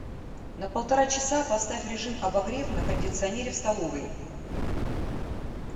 на полтора часа поставь режим обогрев на кондиционере в столовой